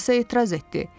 Alisa etiraz etdi.